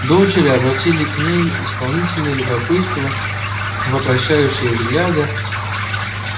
дочери обратили к ней исполненные любопытства вопрошающие взгляды